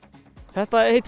þetta heita